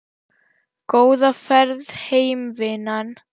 Góða ferð heim vinan.